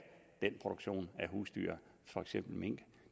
den produktion af husdyr for eksempel mink